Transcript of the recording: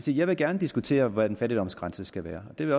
jeg vil gerne diskutere hvor en fattigdomsgrænse skal være det vil